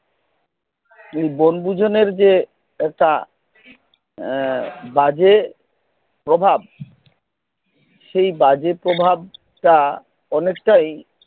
ঐ বনভোজনের যে একটা বাজে প্রভাব সেই বাজে প্রভাব তা অনেকটাই